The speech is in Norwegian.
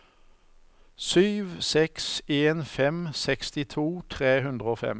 sju seks en fem sekstito tre hundre og fem